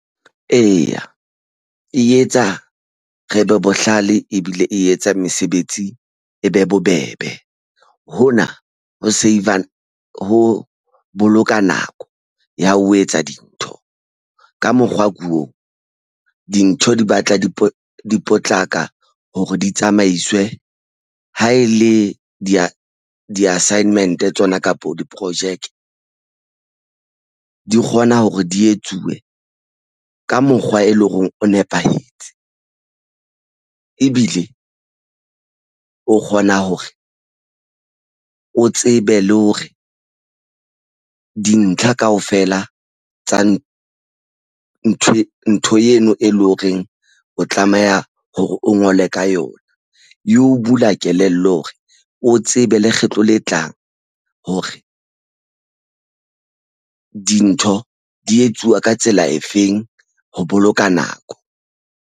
Eya, e etsa re be bohlale ebile e etsa mesebetsi e be bobebe. Hona ho save-a ho boloka nako ya ho etsa dintho ka mokgwa oo dintho di batla di potlaka hore di tsamaiswe. Ha e le di-assignment tsona kapo diprojeke di kgona hore di etsuwe ka mokgwa, e leng hore o nepahetse ebile o kgona hore o tsebe le hore dintlha kaofela tsa na ntho eno e leng horeng o tlameha hore o ngole ka yona e o bula kelello hore o tsebe lekgetlo le tlang hore dintho di etsuwa ka tsela efeng ho boloka nako.